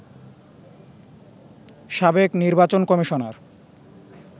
সাবেক নির্বাচন কমিশনার